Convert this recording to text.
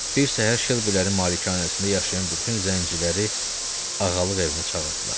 Bir səhər Şelbilərin malikanəsində yaşayan bütün zənciləri ağalıq evinə çağırdılar.